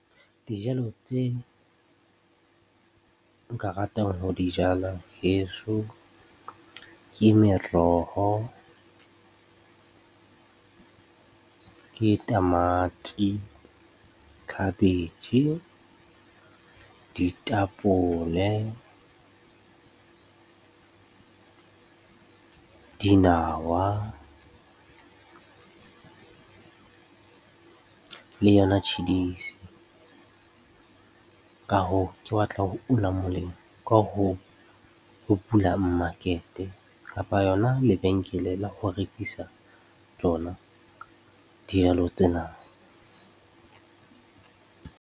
Dijalo tse nka ratang ho di jala heso ke meroho, ke tamati, khabetjhe, ditapole, dinawa le yona tjhidisi. Ka hoo, ke batla ho una molemo ka ho bula mmakete kapa yona lebenkele la ho rekisa tsona dijalo tsena.